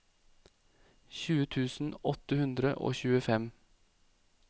tjue tusen åtte hundre og tjuefem